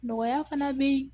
Nɔgɔya fana bɛ